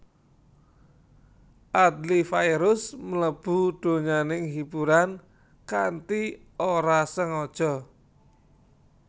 Adly Fairuz mlebu donyaning hiburan kanthi ora sengaja